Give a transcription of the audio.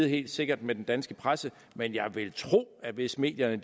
helt sikkert med den danske presse men jeg vil tro at hvis medierne